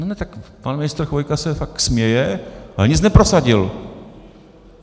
No ne, tak pan ministr Chvojka se tak směje, ale nic neprosadil.